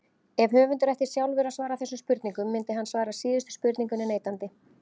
Ef höfundur ætti sjálfur að svara þessum spurningum myndi hann svara síðustu spurningunni neitandi.